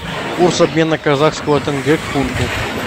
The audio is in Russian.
курс обмена казахского тенге к фунту